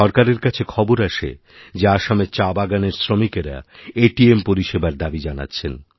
সরকারের কাছে খবর আসে যেআসামের চা বাগানের শ্রমিকরা এটিএম পরিষেবার দাবি জানাচ্ছেন